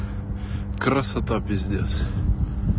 красота пиздец